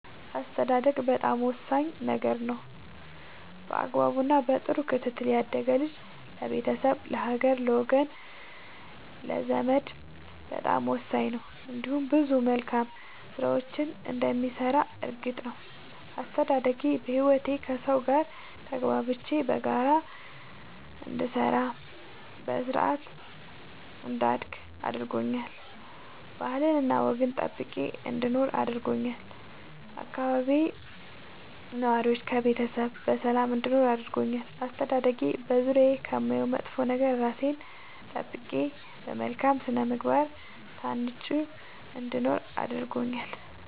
አስተዳደግ በጣም ወሳኝ ነገር ነው በአግባቡ እና በጥሩ ክትትል ያደገ ልጅ ለቤተሰብ ለሀገር ለወገን ለዘመድ በጣም ወሳኝ ነው እንዲሁም ብዙ መልካም ስራዎችን እንደሚሰራ እርግጥ ነው። አስተዳደጌ በህይወቴ ከሠው ጋር ተግባብቼ በጋራ እንድሰራ በስርአት እንዳድግ አድርጎኛል ባህልና ወግን ጠብቄ እንድኖር አድርጎኛል ከአካባቢዬ ነዋሪዎች ከቤተሰብ በሰላም እንድኖር አድርጎኛል። አስተዳደጌ በዙሪያዬ ከማየው መጥፎ ነገር እራሴን ጠብቄ በመልካም ስነ ምግባር ታንጬ እንድኖር እረድቶኛል።